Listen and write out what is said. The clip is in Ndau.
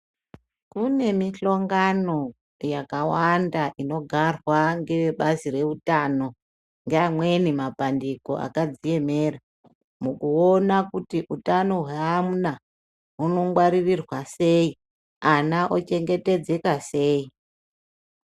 Kune mihlongano yakawanda inogarwa ngeve bazi reutano ngeamweni mabandiko akadziemera mukuona kuti hutano hweana hunongwaririrwa sei, ana ochengetedzeka sei.